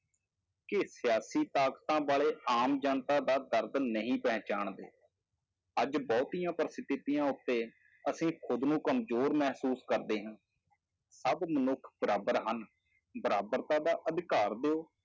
ਕਿ ਸਿਆਸੀ ਤਾਕਤਾਂ ਵਾਲੇ ਆਮ ਜਨਤਾ ਦਾ ਦਰਦ ਨਹੀਂ ਪਹਚਾਣਦੇ, ਅੱਜ ਬਹੁਤੀਆਂਂ ਪਰਿਸਥਿਤੀਆਂ ਉੱਤੇ ਅਸੀਂ ਖੁੱਦ ਨੂੰ ਕਮਜ਼ੋਰ ਮਹਿਸੂਸ ਕਰਦੇ ਹਾਂ, ਸਭ ਮਨੁੱਖ ਬਰਾਬਰ ਹਨ, ਬਰਾਬਰਤਾ ਦਾ ਅਧਿਕਾਰ ਦਿਓ,